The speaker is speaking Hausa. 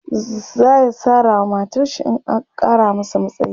zaya Sara wa matarshi in an Kara masa matsayi